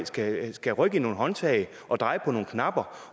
skal skal rykke i nogle håndtag og dreje på nogle knapper